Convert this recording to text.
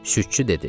Südçü dedi.